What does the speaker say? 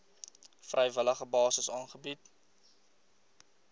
vrywillige basis aangebied